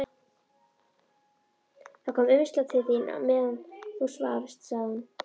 Það kom umslag til þín meðan þú svafst, sagði hún.